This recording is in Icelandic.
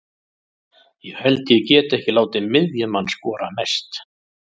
Ég held ég geti ekki látið miðjumann skora mest.